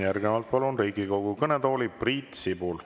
Järgnevalt palun Riigikogu kõnetooli Priit Sibula.